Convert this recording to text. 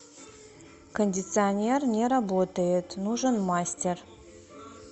кондиционер не работает нужен мастер